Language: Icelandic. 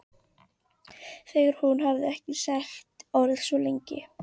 Þegar hún hafði ekki sagt orð svona lengi.